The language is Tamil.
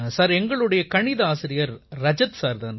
சார் எங்களுடைய கணித ஆசிரியர் ரஜத் சார் தான்